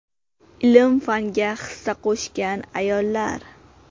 Ilm-fanga hissa qo‘shgan ayollar.